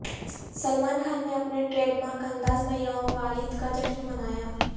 سلمان خان نے اپنے ٹریڈمارک انداز میں یوم والد کا جشن منایا